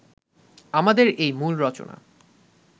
আমাদের এই মূল রচনা